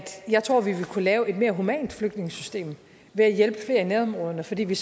jeg tror vi vil kunne lave et mere humant flygtningesystem ved at hjælpe flere i nærområderne fordi vi